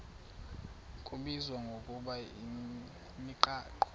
kubizwa ngokuba yimigaqo